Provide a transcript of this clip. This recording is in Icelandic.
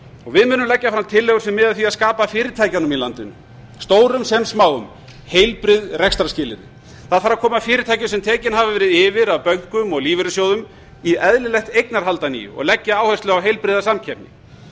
við munum leggja fram tillögur sem miða að því að skapa fyrirtækjunum í landinu stórum sem smáum heilbrigð rekstrarskilyrði það þarf að koma fyrirtækjum sem tekin hafa verið yfir af bönkum og lífeyrissjóðum í eðlilegt eignarhald að nýju og leggja áherslu á heilbrigða samkeppni